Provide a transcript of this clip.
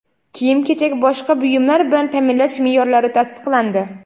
kiyim-kechak boshqa buyumlar bilan taʼminlash meʼyorlari tasdiqlandi.